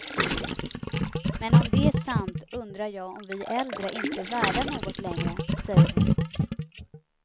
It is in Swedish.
Men om det är sant undrar jag om vi äldre inte är värda något längre, säger hon.